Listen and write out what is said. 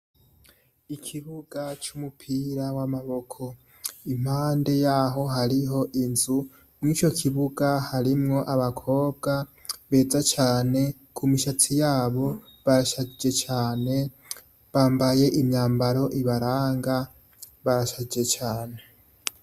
Ikibuga c'umupira w'amaboko. Impande yaho hariho inzu, mw'ico kibuga harimwo abakobwa beza cane, ku mishatsi yabo barashajije cane, bambaye imyambaro ibaranga barashajije cane.